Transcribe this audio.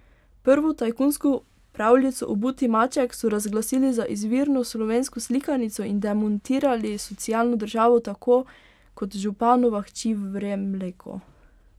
Prvo tajkunsko pravljico Obuti maček so razglasili za izvirno slovensko slikanico in demontirali socialno državo tako, kot županova hči vre mleko.